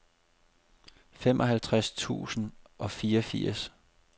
femoghalvtreds tusind og fireogfirs